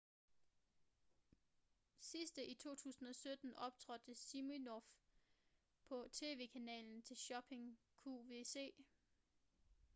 sidste i 2017 optrådte siminoff på tv-kanalen til shopping qvc